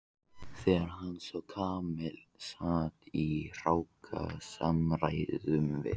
Þegar hann sá hvar Kamilla sat í hrókasamræðum við